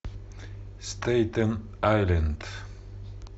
стейтен айленд